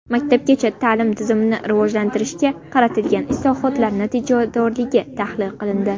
Maktabgacha ta’lim tizimini rivojlantirishga qaratilgan islohotlar natijadorligi tahlil qilindi.